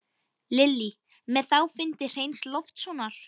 Lillý: Með þá fundi Hreins Loftssonar?